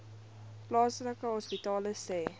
plaaslike hospitale sê